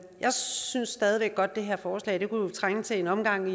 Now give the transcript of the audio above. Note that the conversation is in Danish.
jeg synes stadig væk godt at det her forslag kunne trænge til en omgang